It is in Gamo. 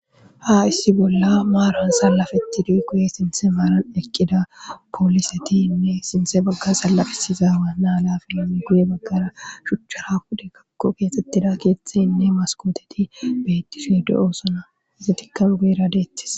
ha issi bolla maaran sallafeti duy guye sinthe maaran eqqida poolisetiinne sinthe bagga sallafisiza waanaa la filam guye baggara shuchchara hude kakko keexxettida keeththey inne maskooteti beettishude7osona izi tikan guyera deetis